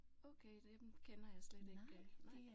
Okay dem kender jeg slet ikke nej